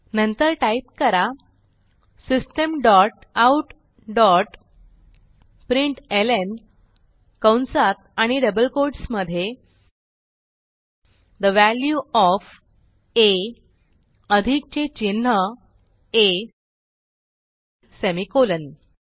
नंतर टाईप करा system dot out dot println कंसात आणि डबल कोट्स मधे ठे वॅल्यू ओएफ आ अधिकचे चिन्ह आ सेमिकोलॉन